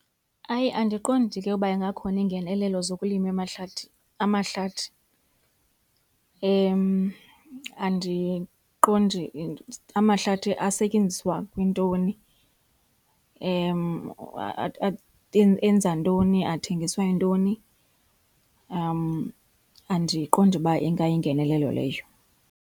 Hayi, andiqondi ke uba ingakhona ingenelelo zokulima emahlathi, amahlathi. Andiqondi amahlathi asetyenziswa kwintoni, enza ntoni, athengiswa yintoni. Andiqondi uba ingayingenelelo leyo.